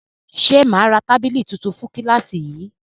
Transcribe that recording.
Ṣe ma ra tábìlì tuntun fún kílàsì yìí?